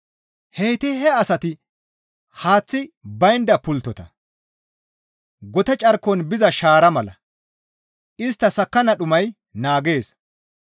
Heyti he asati haaththi baynda pulttota; gote carkon biza shaara mala; istta sakkanna dhumay naagees.